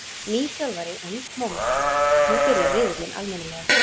Nýr þjálfari og nýtt móment, nú byrjar riðillinn almennilega.